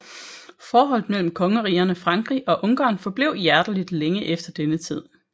Forholdet mellem kongerigerne Frankrig og Ungarn forblev hjerteligt længe efter denne tid